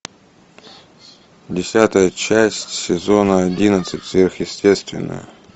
десятая часть сезона одиннадцать сверхъестественное